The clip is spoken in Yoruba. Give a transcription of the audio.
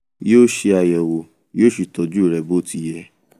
yoo ṣe ayẹwo yó sì tọju rẹ bó ti yẹ